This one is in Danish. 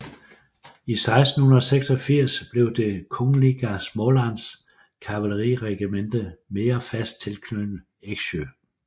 I 1686 blev det Kungliga Smålands kavaleriregemente mere fast knyttet til Eksjö